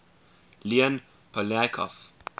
leon poliakov